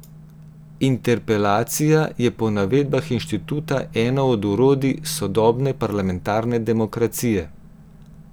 Interpelacija je po navedbah inštituta eno od orodij sodobne parlamentarne demokracije.